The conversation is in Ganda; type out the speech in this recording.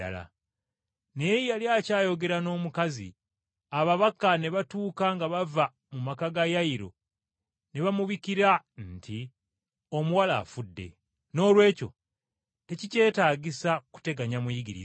Naye yali akyayogera n’omukazi ababaka ne batuuka nga bava mu maka g’omukulu w’ekuŋŋaaniro, ne babikira Yayiro nti, “Omuwala afudde, noolwekyo tekikyetaagisa kuteganya Muyigiriza.”